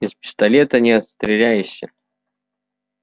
из пистолета не отстреляешься